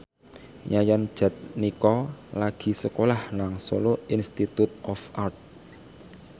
Yayan Jatnika lagi sekolah nang Solo Institute of Art